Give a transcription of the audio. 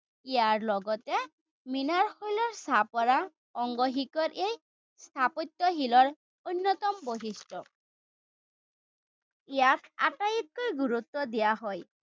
ইয়াৰ লগতে অংগ শিখৰে স্থাপত্যশীলৰ অন্যতম বৈশিষ্ট। ইয়াক আটাইতকৈ গুৰুত্ব দিয়া হয়।